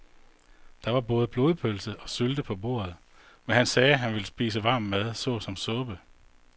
Der var både blodpølse og sylte på bordet, men han sagde, at han bare ville spise varm mad såsom suppe.